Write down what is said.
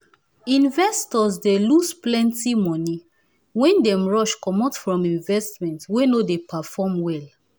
investors dey loose plenti moni wen dem rush comot from investment wey no dey perform well